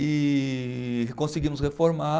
E conseguimos reformar.